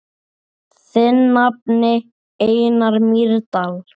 Þinn nafni, Einar Mýrdal.